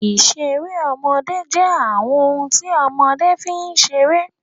Ìṣeré ọmọdé jẹ́ àwọn ohun tí ọmọdé fi ń ṣeré.